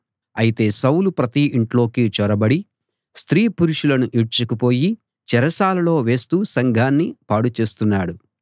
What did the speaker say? అయితే సౌలు ప్రతి ఇంట్లోకి చొరబడి స్త్రీ పురుషులను ఈడ్చుకుపోయి చెరసాలలో వేస్తూ సంఘాన్ని పాడు చేస్తున్నాడు